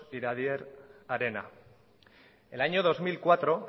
iradier arena en el año dos mil cuatro